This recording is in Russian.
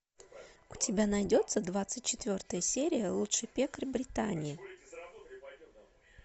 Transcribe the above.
у тебя найдется двадцать четвертая серия лучший пекарь британии